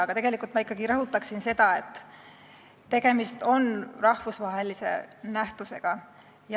Aga tegelikult ma ikkagi rõhutaksin seda, et tegemist on rahvusvahelise nähtusega.